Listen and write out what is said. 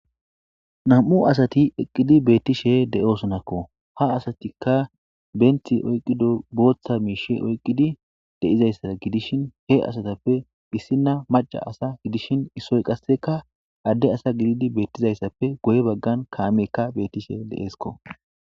Nam7u asati eqqidi beettishe de7oosonakko ha asatikka benthi oyqqido booththa miishe oyqqidi deizayssada gidishin he asatappe issina maca asa gidishin issoy qasseka adde asa gididi beettizayssappe goye baggan kaameekka beettishe deeesko.